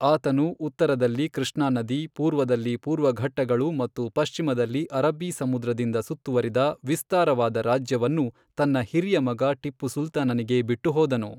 ಆತನು ಉತ್ತರದಲ್ಲಿ ಕೃಷ್ಣಾ ನದಿ, ಪೂರ್ವದಲ್ಲಿ ಪೂರ್ವಘಟ್ಟಗಳು ಮತ್ತು ಪಶ್ಚಿಮದಲ್ಲಿ ಅರಬ್ಬೀ ಸಮುದ್ರದಿಂದ ಸುತ್ತುವರಿದ ವಿಸ್ತಾರವಾದ ರಾಜ್ಯವನ್ನು ತನ್ನ ಹಿರಿಯ ಮಗ ಟಿಪ್ಪು ಸುಲ್ತಾನನಿಗೆ ಬಿಟ್ಟು ಹೋದನು.